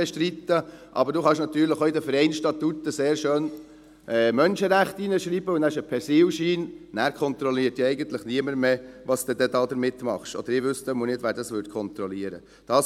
Aber man kann natürlich in die Vereinsstatuten sehr schön «Menschenrechte» hineinschreiben, und dann hat man einen Persilschein, dann kontrolliert eigentlich niemand mehr, was man damit tut, oder zumindest wüsste ich nicht, wer dies kontrollieren würde.